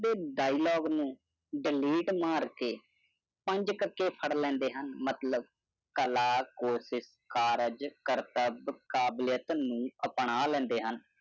ਤੇ ਡਾਈਲੋਗ ਨੂੰ ਡਿਲੀਟ ਮਾਰ ਕੇ ਪੰਜ ਕ ਕੇ ਫੜ ਲੈਂਦੇ ਹਨ ਮਤਲਬ ਕਰਤਬ, ਕਾਬਲੀਅਤ ਨੂੰ ਅਪਣਾ ਲੈਂਦੇ ਹਨ